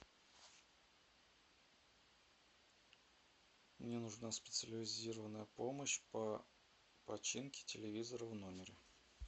мне нужна специализированная помощь по починке телевизора в номере